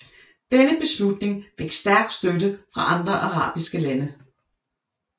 Denne beslutning fik stærk støtte fra andre arabiske lande